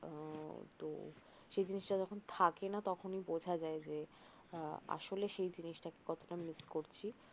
সেই জিনিস টা যখন থাকে না তখন বোঝা যায় যে আসলে সেই জিনিস টাকে কতটা মিস করছি